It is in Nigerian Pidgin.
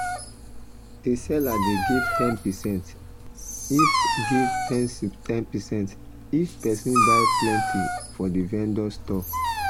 the seller dey give ten percent if give ten percent if person buy plenty for the vendor store